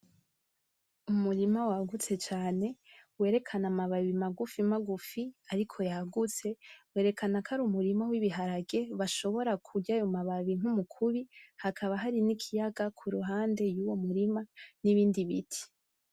Umurima wagutse cane werekana amababi magufi magufi ariko yagutse, berekana ko ar'umurima w'ibiharage bashobora kurya ayo mababi nk'umukubi, hakaba hari n'ikiyaga kuruhande yuwo murima n'ibindi biti.